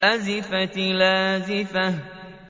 أَزِفَتِ الْآزِفَةُ